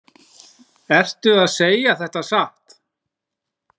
Ertu að segja þetta satt?